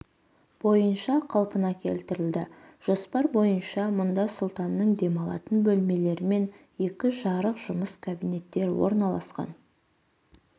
бойынша қалпына келтірілді жоспар бойынша мұнда сұлтанның демалатын бөлмелері мен екі жарық жұмыс кабинеттері орналасқан